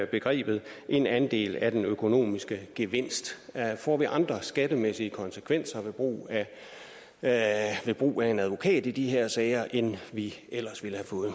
begrebet en andel af den økonomiske gevinst får vi andre skattemæssige konsekvenser ved brug af brug af en advokat i de her sager end vi ellers